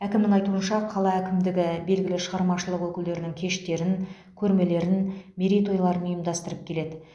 әкімнің айтуынша қала әкімдігі белгілі шығармашылық өкілдерінің кештерін көрмелерін мерейтойларын ұйымдастырып келеді